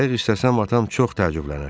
Qayıq istəsəm, atam çox təəccüblənər.